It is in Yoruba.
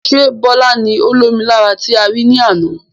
Ṣé Bọlá ni ó lomi lára tí a rí ní àna?